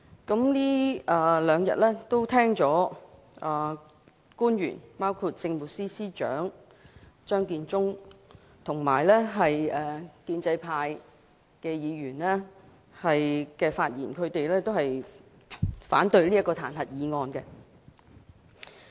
這兩天聽到包括政務司司長張建宗在內的官員及建制派議員的發言，都反對彈劾議案。